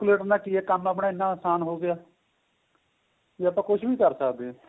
calculator ਕਿ ਏਹ ਕੰਮ ਆਪਣਾ ਇਹਨਾ ਅਸਾਨ ਹੋ ਗਿਆ ਵੀ ਆਪਾਂ ਕੁੱਛ ਵੀ ਕਰ ਸਕਦੇ ਹਾਂ